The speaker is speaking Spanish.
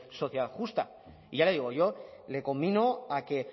sociedad justa y ya le digo yo le conmino a que